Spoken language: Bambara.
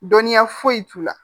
Dɔnniya foyi t'u la